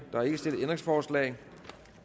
der er ikke stillet ændringsforslag